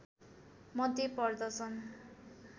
मध्ये पर्दछन्